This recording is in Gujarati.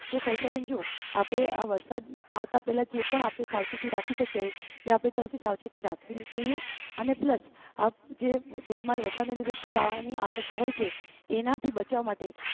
સવિતાબેન જો આપણે આ વરસાદ આવતા પહેલા જે પણ આપણી સાવચેતી રાખી શકીએ કે આપણે ત્યાંથી સાવચેથી રાખવી જોઈએ અને plus એના થી વરસાદને લીધે પુરાવાની અસંકા હોય છે એનાથી બચવા માટે